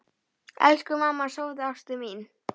Elsku mamma, sofðu, ástin mín.